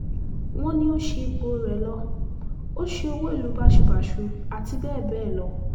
wọ́n ní ó ṣí ipò rẹ̀ lọ ó ṣe owó ìlú báṣubàṣu àti bẹ́ẹ̀ bẹ́ẹ̀ lọ